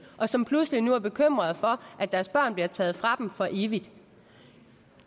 og som pludselig nu er bekymrede for at deres børn bliver taget fra dem for evigt